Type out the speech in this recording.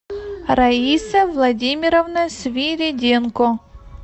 раиса владимировна свириденко